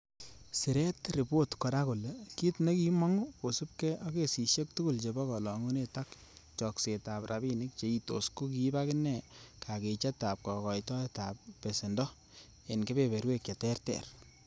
Siret ripot kora kole kit nekimongu kosiibge ak kasisiek tugul chebo kolongunet ak choksetab rabinik cheitos ko kiib agine kakichetab kokoitoetab ab besendo en kebeberwek che terter.